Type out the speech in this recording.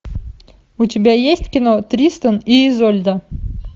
у тебя есть кино тристан и изольда